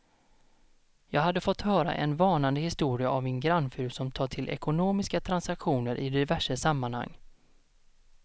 Jag hade fått höra en varnande historia av min grannfru som tar till ekonomiska transaktioner i diverse sammanhang.